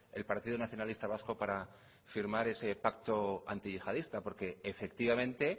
el partido nacionalista vasco para firmar ese pacto antiyihadista porque efectivamente